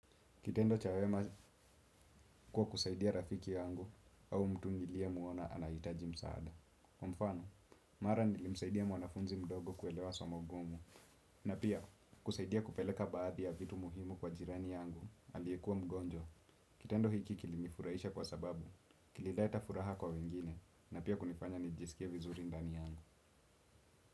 Kitendo cha wema kwa kusaidia rafiki yangu au mtu nilie muona anaitaji msaada. Mfano, mara nilimsaidia mwanafunzi mdogo kuelewa somo gumu. Na pia, kusaidia kupeleka baadhi ya vitu muhimu kwa jirani yangu aliekua mgonjwa. Kitendo hiki kilinifuraisha kwa sababu, kililets furaha kwa wengine na pia kunifanya nijisikie vizuri ndani yangu.